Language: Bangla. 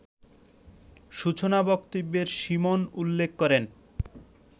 সূচনা বক্তব্যে সীমন উল্লেখ করেন